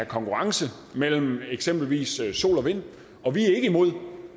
konkurrence mellem eksempelvis sol og vind og vi er ikke imod